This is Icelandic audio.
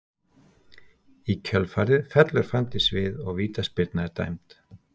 Í kjölfarið fellur Fanndís við og vítaspyrna er dæmd.